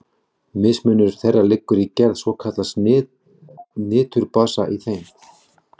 Mismunur þeirra liggur í gerð svokallaðs niturbasa í þeim.